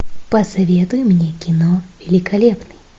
посоветуй мне кино великолепный